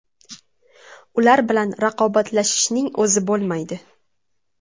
Ular bilan raqobatlashishning o‘zi bo‘lmaydi.